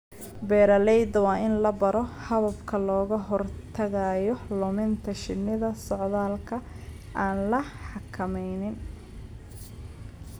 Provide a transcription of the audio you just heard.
Beeralayda waa in la baro hababka looga hortagayo luminta shinnida socdaalka aan la xakameynin.